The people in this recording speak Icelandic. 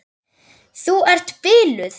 Þú ert biluð!